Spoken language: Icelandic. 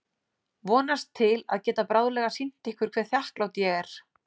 Vonast til að geta bráðlega sýnt ykkur hve þakklát ég er.